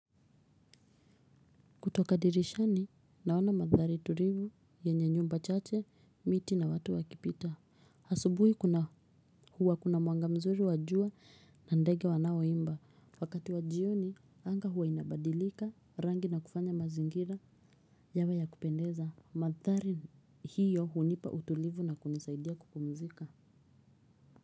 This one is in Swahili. Kutosha dirishani naona mandhari tulivu yenye nyumba chache, miti na watu wakipita asubuhi kuna huwa kuna mwanga mzuri wa jua na ndege wanaoimba. Wakati wa jioni, anga huwa inabadilika rangi na kufanya mazingira yawe ya kupendeza. Mandhari hiyo hunipa utulivu na kunisaidia kupumzika.